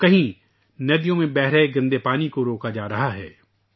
تو کہیں ندیوں میں بہنے والا گندا پانی روکا جا رہا ہے